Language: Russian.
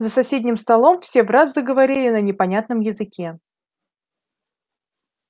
за соседним столом все враз заговорили на непонятном языке